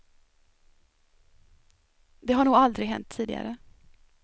Det har nog aldrig hänt tidigare.